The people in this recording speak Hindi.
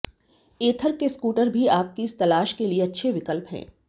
एथर के स्कूटर भी आपकी इस तलाश के लिए अच्छे विकल्प हैं